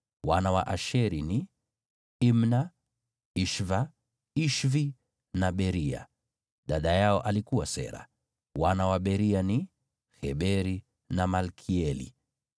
Wana wa Asheri ni: Imna, Ishva, Ishvi na Beria. Dada yao alikuwa Sera. Wana wa Beria ni: Heberi na Malkieli.